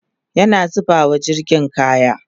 ana zubawa jirgin kaya